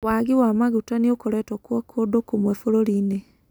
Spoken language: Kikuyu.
Wagi wamaguta nĩ ũkoretwo kuo kũndũ kũmwe bũrũri-inĩ